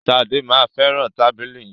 Ṣadé máa fẹràn tábìlì yìí.